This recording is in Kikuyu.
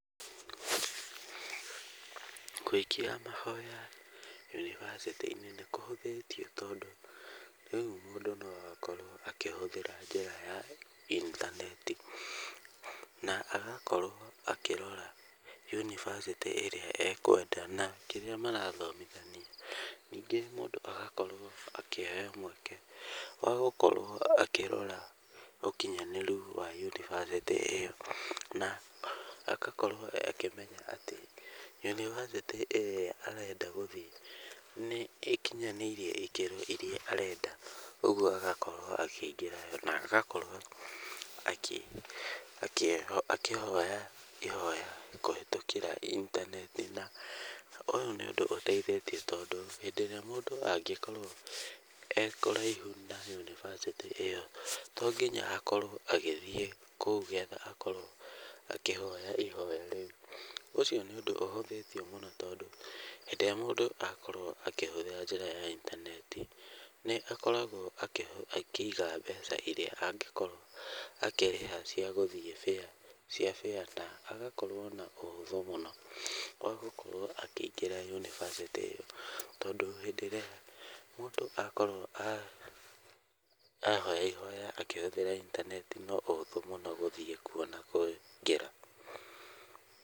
Gũikia mahoya yunivasĩtĩ-inĩ nĩ kũhũthĩtio tondũ rĩu mũndũ nĩ arakorwo akĩhũthĩra njĩra ya intaneti. Na agakorwo akĩrora yunivasĩtĩ ĩrĩa ekwenda na kĩrĩa marathomithania. Ningĩ mũndũ agakorwo akĩheo mweke wa gũkorwo akĩrora ũkinyanĩru wa yunivasĩtĩ ĩyo na agakorwo akĩmenya atĩ yunivasĩtĩ ĩrĩa arenda gũthiĩ nĩ ĩkinyanĩirie ikĩro irĩa arenda. Ũguo agakorwo akĩingĩra na agakorwo akĩhoya kũhĩtũkĩra intaneti. Na ũyũ nĩ ũndũ ũteithĩtie tondũ hĩndĩ ĩrĩa mũndũ angĩkorwo ekũraihu na yunivasĩtĩ ĩyo to nginya akorwo agĩthiĩ kũu getha akorwo akĩhoya ihoya rĩu. Ũcio nĩ ũndũ ũhũthĩtio mũno tondũ rĩrĩa mũndũ akorwo akĩhũthĩra njĩra ya intaneti, nĩ akoragwo akĩiga mbeca irĩa angĩkorwo akĩrĩha cia gũthiĩ fare na agakorwo na ũhũthũ mũno wa gũkorwo akĩingĩra yunivasĩtĩ ĩyo. Tondũ hĩndĩ ĩrĩa mũndũ akorwo ahoya ihoya akĩhũthĩra intaneti no ũhũthũ mũno gũthiĩ kuo na kũingĩra.